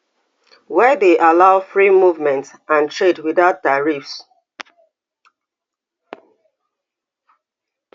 wey dey allow free movement and trade without tariffs